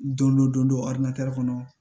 Don dɔ don dɔ aramatɛri kɔnɔ